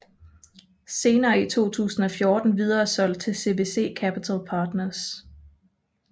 Senere i 2014 videresolgt til CVC Capital Partners